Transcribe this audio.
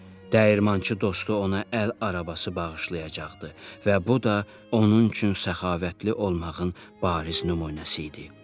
Dəyirmançı dostu ona əl arabası bağışlayacaqdı və bu da onun üçün səxavətli olmağın bariz nümunəsi idi.